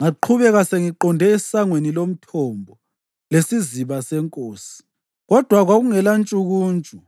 Ngaqhubeka sengiqonde eSangweni loMthombo leSiziba Senkosi, kodwa kwakungelantshukuntshu